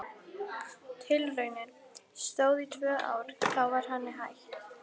Tilraunin stóð í tvö ár en þá var henni hætt.